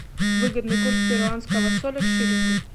выгодный курс перуанского соля к шиллингу